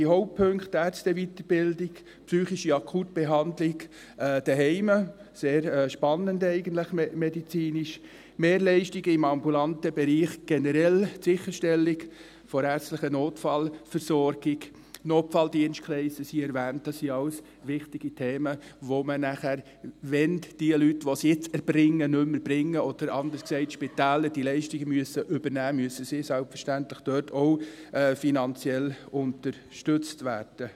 Die Hauptpunkte, Ärzteweiterbildung, psychische Akutbehandlung zu Hause – eigentlich medizinisch sehr spannend – Mehrleistungen im ambulanten Bereich generell, die Sicherstellung der ärztlichen Notfallversorgung, Notfalldienstkreise wurden erwähnt, dies sind alles wichtige Themen, welche nachher, wenn die Leute, die dies jetzt erbringen, nicht mehr erbringen oder anders gesagt, wenn die Spitäler diese Leistungen übernehmen müssen, müssen sie dort selbstverständlich finanziell unterstützt werden.